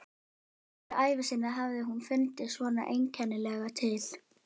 Aldrei á ævi sinni hafði hún fundið svona einkennilega til.